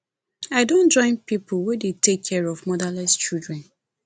i don join pipu we dey take care of motherless children